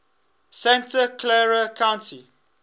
santa clara county